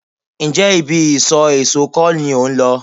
Ǹjẹ́ ibi isọ̀ èso kọ́ ni ò ń lọ?